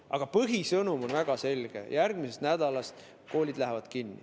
Aga põhisõnum on väga selge: järgmisest nädalast lähevad koolid kinni.